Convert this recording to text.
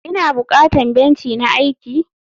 ina bukatan benci na aiki?